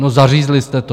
No, zařízli jste to!